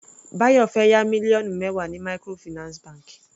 Bayo fẹ́ yá mílíọ̀nù mẹwa ní microfinance bank.